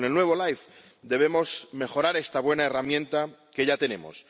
Con el nuevo LIFE debemos mejorar esta buena herramienta que ya tenemos